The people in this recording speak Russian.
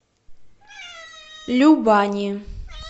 любани